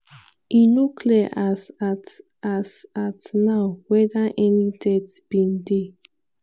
e no clear as at as at now weda any death bin dey.